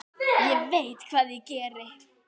Ég veit hvað ég geri.